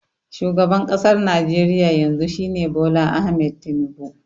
Shugaban ƙasar Najeriya yanzu shi ne Bola Ahmed Tinubu